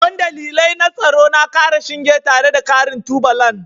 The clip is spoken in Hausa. Don dalilai na tsaro na ƙara shinge tare da ƙarin tubalan